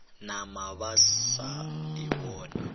nama ba sa e bone